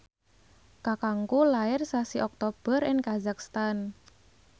kakangku lair sasi Oktober ing kazakhstan